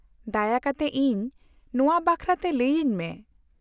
-ᱫᱟᱭᱟ ᱠᱟᱛᱮ ᱤᱧ ᱱᱚᱶᱟ ᱵᱟᱠᱷᱨᱟᱛᱮ ᱞᱟᱹᱭᱟᱹᱧ ᱢᱮ ᱾